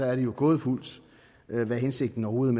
er det jo gådefuldt hvad hensigten overhovedet